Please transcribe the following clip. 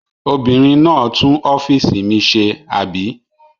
Obìnrin náà tún ọ́fíísì mi ṣe, àbí?